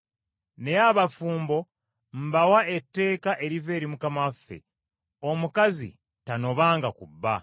Naye abafumbo mbawa etteeka eriva eri Mukama waffe: omukazi tanobanga ku bba.